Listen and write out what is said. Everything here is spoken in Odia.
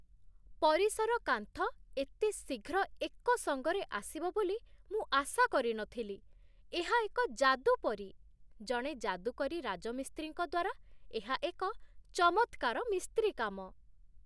ପରିସର କାନ୍ଥ ଏତେ ଶୀଘ୍ର ଏକ ସଙ୍ଗରେ ଆସିବ ବୋଲି ମୁଁ ଆଶା କରି ନ ଥିଲି, ଏହା ଏକ ଯାଦୁ ପରି! ଜଣେ ଯାଦୁକରୀ ରାଜମିସ୍ତ୍ରୀଙ୍କ ଦ୍ୱାରା ଏହା ଏକ ଚମତ୍କାର ମିସ୍ତ୍ରୀକାମ